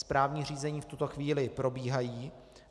Správní řízení v tuto chvíli probíhají.